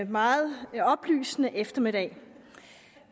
meget oplysende eftermiddag